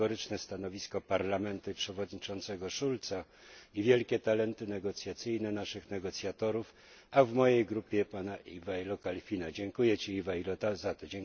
kategoryczne stanowisko Parlamentu i przewodniczącego Schulza i wielkie talenty negocjacyjne naszych negocjatorów, a w mojej grupie pana Ivaila Kalfina. Ivailo, dziękuję Ci za to!